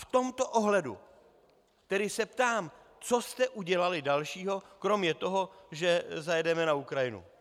V tomto ohledu se tedy ptám, co jste udělali dalšího kromě toho, že zajedeme na Ukrajinu.